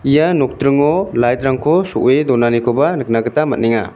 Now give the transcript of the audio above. ia nokdringo light-rangko so·e donanikoba nikna gita man·enga.